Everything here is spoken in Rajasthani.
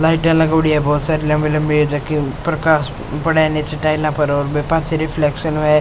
लाइटे लगोडी है बहुत सारी लम्बी लम्बी जाके ऊपर पाछे रिफ्लेक्शन होए।